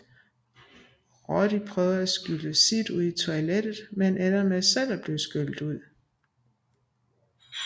Roddy prøver at skylle Sid ud i toilettet men ender med selv at blive skyllet ud